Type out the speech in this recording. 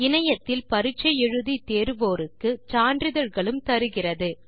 இணையத்தில் பரிட்சை எழுதி தேர்வோருக்கு சான்றிதழ்களும் தருகிறது